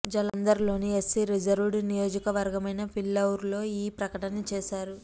జలంధర్ లోని SC reserved నియోజకవర్గమైన ఫిల్లౌర్ లో ఈ ప్రకటన చేశారు